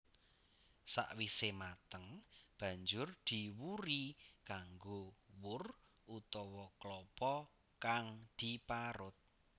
Sawise mateng banjur diwuri kanggo wur utawa klapa kang diparut